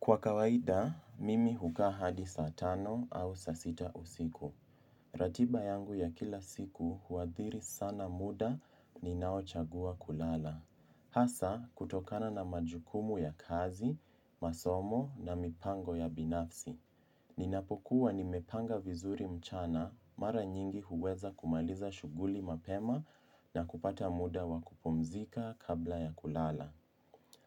Kwa kawaida, mimi hukaa hadi saa tano au saa sita usiku. Ratiba yangu ya kila siku huathiri sana muda ninao chagua kulala. Hasa, kutokana na majukumu ya kazi, masomo na mipango ya binafsi. Ninapokuwa nimepanga vizuri mchana, mara nyingi huweza kumaliza shughuli mapema na kupata muda wa kupumzika kabla ya kulala.